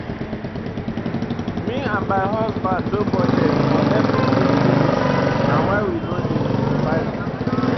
Me and my husband don budget for everything finish na why we no dey panic